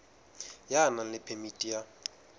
ya nang le phemiti ya